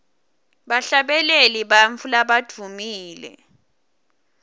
bahlabeleli bantfu labadvumile